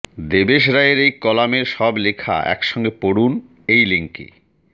দেবেশ রায়ের এই কলামের সব লেখা একসঙ্গে পড়ুন এই লিংকে